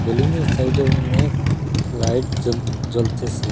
লুমের সাইডে অনেক লাইট জ্বল জ্বলতেসে।